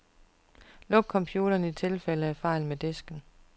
Luk computeren i tilfælde af fejl med disken.